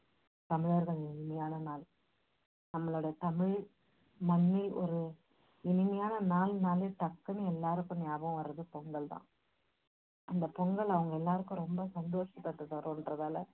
தமிழர்களின் இனிமையான நாள். நம்மளோட தமிழ் மண்ணில் ஒரு இனிமையான நாள்னாலே டக்குன்னு எல்லாருக்கும் ஞாபகத்துக்கு வர்றது பொங்கல் தான். அந்த பொங்கல் அவங்க எல்லாருக்கும் ரொம்ப சந்தோஷத்தை தரும்ன்றதால